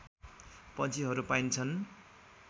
पन्छीहरू पाइन्छन्